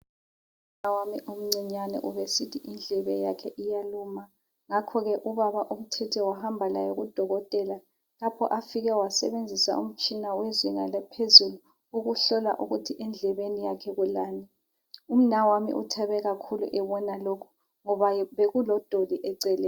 Umnawami omncinyani ubesithi indlebe yakhe iyaluma ngakho ke ubaba utshitshe wahamba laye kudokotela lapho afike wasebenzisa umtshina wezinga laphezulu ukuhlola ukuthi endlebeni yakhe kulani umnawami uthabe kakhulu ebona lokhu ngoba bekulodoli eceleni.